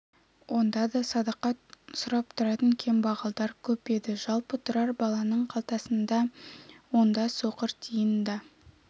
онда да садақа сұрап тұратын кембағалдар көп еді жалпы тұрар баланың қалтасында онда соқыр тиын да